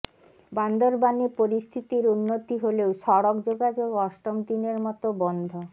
বান্দরবানে পরিস্থিতির উন্নতি হলেও সড়ক যোগাযোগ অষ্টম দিনের মতো বন্ধ